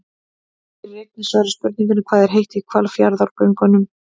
Hér er einnig svarað spurningunni: Hvað er heitt í Hvalfjarðargöngunum?